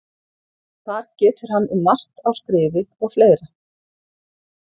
Þar getur hann um margt á skrifi og fleira.